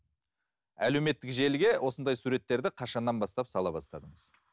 әлеуметтік желіге осындай суреттерді қашаннан бастап сала бастадыңыз